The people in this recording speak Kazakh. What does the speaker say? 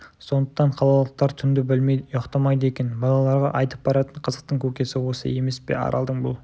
сондықтан қалалықтар түнді білмейді ұйықтамайды екен балаларға айтып баратын қызықтың көкесі осы емес пе аралдың бұл